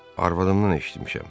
Arvadımdan eşitmişəm.